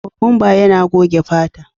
Kokwanba yana goge fata.